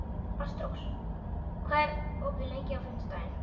Ástrós, hvað er opið lengi á fimmtudaginn?